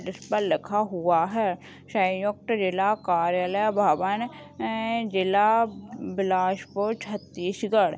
जिसपर लिखा हुआ है संयुक्त जिला कार्यालय भवन अ जिला बिलासपुर छत्तीसगढ़--